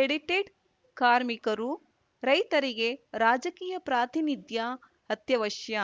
edited ಕಾರ್ಮಿಕರು ರೈತರಿಗೆ ರಾಜಕೀಯ ಪ್ರಾತಿನಿಧ್ಯ ಅತ್ಯವಶ್ಯ